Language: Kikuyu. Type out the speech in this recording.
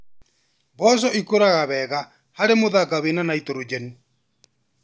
Mboco ikũraga wega harĩ mũthanga wĩna nitrogen.